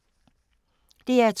DR2